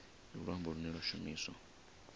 ndi luambo lune lwa shumiswa